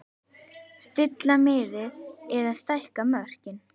Stilla miðið eða stækka mörkin?